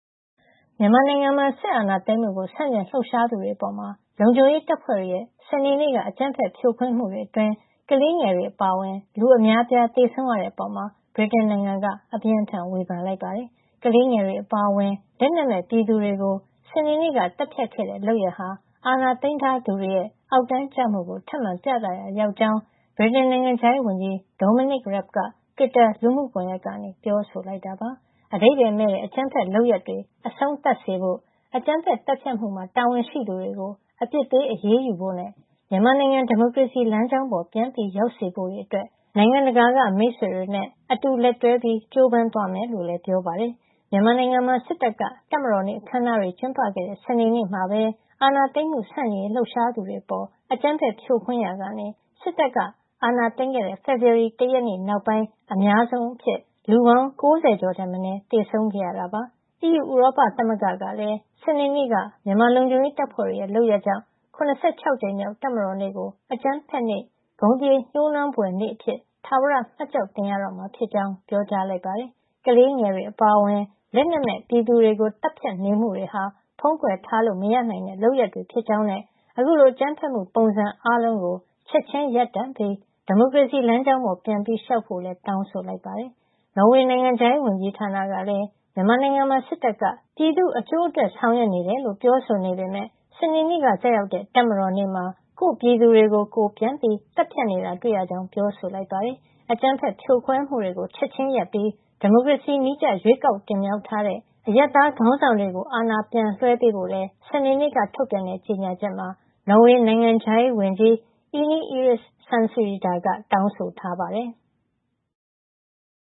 မြန်မာနိုင်ငံမှာ စစ်အာဏာသိမ်းမှုကို ဆန့်ကျင်လှုပ်ရှားသူတွေအပေါ် လုံခြုံရေးတပ်ဖွဲ့တွေရဲ့ စနေနေ့က အကြမ်းဖက် ဖြိုခွင်းမှုအတွင်း ကလေးငယ်တွေ အပါအဝင် လူအများအပြား သေဆုံးရတဲ့အပေါ် ဗြိတိန်နိုင်ငံက အပြင်းအထန် ဝေဖန်လိုက်ပါတယ်။ ကလေးငယ်တွေ အပါအဝင် လက်နက်မဲ့ ပြည်သူတွေကို စနေနေ့က သတ်ဖြတ်ခဲ့တဲ့ လုပ်ရပ်ဟာ အာဏာသိမ်းထားသူတွေရဲ့ အောက်တန်းကျမှုကို ထပ်မံပြသရာရောက်ကြောင်း ဗြိတိန်နိုင်ငံခြားရေးဝန်ကြီး Dominic Raab က Twitter လူမှုကွန်ရက်ကနေ ပြောဆိုလိုက်တာပါ။ အဓိပါယ်မဲ့တဲ့ အကြမ်းဖက်လုပ်ရပ်တွေ အဆုံးသတ်စေဖို့၊ အကြမ်းဖက်သတ်ဖြတ်မှုမှာ တာဝန်ရှိသူတွေကို အပြစ်ပေး အရေးယူဖို့ နဲ့ မြန်မာနိုင်ငံ ဒီမိုကရေစီလမ်းကြောင်းပေါ် ပြန်ရောက်စေဖို့တွေအတွက် နိုင်ငံတကာက မိတ်ဆွေတွေနဲ့ အတူလက်တွဲ ကြိုးပမ်းသွားမယ်လို့လည်း ပြောပါတယ်။ မြန်မာနိုင်ငံမှာ စစ်တပ်က တပ်မတော်နေ့ အခမ်းအနားတွေ ကျင်းပခဲ့တဲ့ စနေနေ့မှာပဲ အာဏာသိမ်းမှု ဆန့်ကျင်ရေး လှုပ်ရှားသူတွေအပေါ် အကြမ်းဖက်ဖြိုခွင်းရာက စစ်တပ်က အာဏာသိမ်းခဲ့တဲ့ ဖေဖော်ဝါရီလ ၁ ရက်နေ့နောက်ပိုင်း အများဆုံးအဖြစ် လူပေါင်း ၉၀ ကျော်ထက်မနည်း သေဆုံးခဲ့တာပါ။ ဥရောပသမဂ္ဂ (EU) ကလည်း စနေနေ့က မြန်မာလုံခြုံရေးတပ်ဖွဲ့တွေရဲ့ လုပ်ရပ်ကြောင့် ၇၆ ကြိမ်မြောက် တပ်မတော်နေ့ကို အကြမ်းဖက်နေ့၊ ဂုဏ်ကျက်သရေ ညိုးနွမ်းဖွယ်နေ့အဖြစ် ထာဝရ မှတ်ကျောက်တင်ရတော့မှာ ဖြစ်ကြောင်း ပြောကြားလိုက်ပါတယ်။ ကလေးငယ်တွေအပါအဝင် လက်နက်မဲ့ပြည်သူတွေကို သတ်ဖြတ်နေမှုတွေဟာ ဖုံးကွယ်ထားလို့ မရနိုင်တဲ့ လုပ်ရပ်တွေဖြစ်ကြောင်းနဲ့ အခုလို အကြမ်းဖက်မှုပုံစံအားလုံးကို ချက်ချင်းရပ်တန့်ပြီး ဒီမိုကရေစီလမ်းကြောင်းပေါ် ပြန်လျှောက်ဖို့လည်း တောင်းဆိုလိုက်ပါတယ်။ နော်ဝေ နိုင်ငံခြားရေးဝန်ကြီးဌာနကလည်း မြန်မာနိုင်ငံမှာ စစ်တပ်က ပြည်သ့ူအကျိုးအတွက် ဆောင်ရွက်နေတယ်လို့ ပြောဆိုနေပေမယ့် စနေနေ့က ကျရောက်တဲ့ တပ်မတော်နေ့မှာ ကိုယ့်ပြည်သူတွေကို ကိုယ်ပြန်သတ်ဖြတ်နေတာ တွေ့ရကြောင်း ပြောဆိုလိုက်ပါတယ်။ အကြမ်းဖက်ဖြိုခွဲမှုတွေကို ချက်ချင်းရပ်ပြီး ဒီမိုကရေစီနည်းကျ ရွေးကောက်တင်မြှောက် ထားတဲ့ အရပ်သားခေါင်းဆောင်တွေကို အာဏာပြန်လွှဲပေးဖို့လည်း စနေနေ့က ထုတ်ပြန်တဲ့ ကြေညာချက်မှာ နော်ဝေနိုင်ငံခြားရေးဝန်ကြီး Ine Eriksen Søreide က တောင်းဆို ထားပါတယ်။